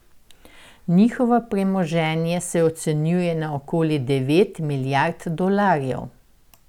Njihovo premoženje se ocenjuje na okoli devet milijard dolarjev.